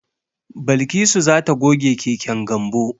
Balkisu za ta goge keken Gambo.